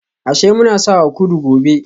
Ashe muna sawa kudu gobe